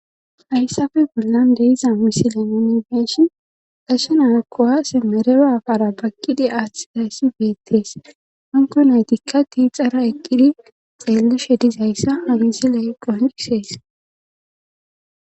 Hayssafe gollan deiza misile unifeshin qasonaakko haase merera afara bagqidi aaththizayssi beettees hanko naytikka tiixara eqqidi xeellushe dizayssa uhizile qonisees.